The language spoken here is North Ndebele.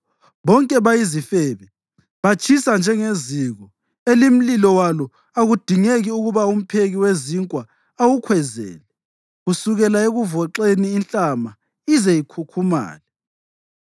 Bonke bayizifebe, batshisa njengeziko elimlilo walo akudingeki ukuba umpheki wezinkwa awukhwezele kusukela ekuvoxeni inhlama ize ikhukhumale.